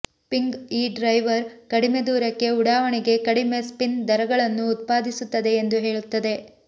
ping ಈ driver ಕಡಿಮೆ ದೂರಕ್ಕೆ ಉಡಾವಣೆಗೆ ಕಡಿಮೆ ಸ್ಪಿನ್ ದರಗಳನ್ನು ಉತ್ಪಾದಿಸುತ್ತದೆ ಎಂದು ಹೇಳುತ್ತದೆ